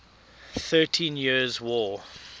thirteen years war